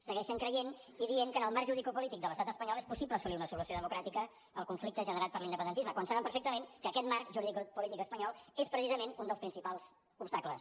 segueixen creient i dient que en el marc juridicopolític de l’estat espanyol és possible assolir una solució democràtica al conflicte generat per l’independentisme quan saben perfectament que aquest marc juridicopolític espanyol és precisament un dels principals obstacles